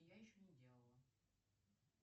я еще не делала